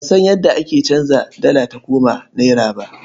Ban san yadda ake canza dala ta koma nera ba.